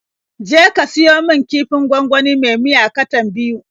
Je ka siyo min kifin gwangwani me miya katan biyu.